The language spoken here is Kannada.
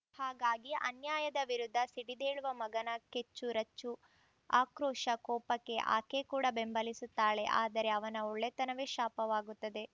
ಹಾಗಾಗಿ ಅನ್ಯಾಯದ ವಿರುದ್ಧ ಸಿಡಿದೇಳುವ ಮಗನ ಕೆಚ್ಚು ರಚ್ಚು ಆಕ್ರೋಶ ಕೋಪಕ್ಕೆ ಆಕೆ ಕೂಡ ಬೆಂಬಲಿಸುತ್ತಾಳೆ ಆದರೆ ಅವನ ಒಳ್ಳೆತನವೇ ಶಾಪವಾಗುತ್ತದೆ